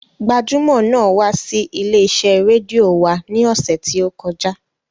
Gbajúmọ̀ náà wá sí ilé-iṣẹ́ rédíò wa ní ọ̀sẹ̀ tí ó kọjá.